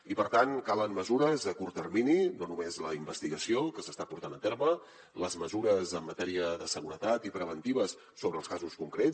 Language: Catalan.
i per tant calen mesures a curt termini no només la investigació que s’està portant a terme les mesures en matèria de seguretat i preventives sobre els casos concrets